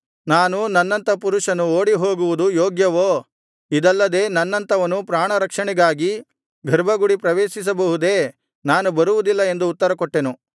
ನಾನು ನನ್ನಂಥ ಪುರುಷನು ಓಡಿಹೋಗುವುದು ಯೋಗ್ಯವೋ ಇದಲ್ಲದೆ ನನ್ನಂಥವನು ಪ್ರಾಣರಕ್ಷಣೆಗಾಗಿ ಗರ್ಭಗುಡಿ ಪ್ರವೇಶಿಸಬಹುದೇ ನಾನು ಬರುವುದಿಲ್ಲ ಎಂದು ಉತ್ತರಕೊಟ್ಟೆನು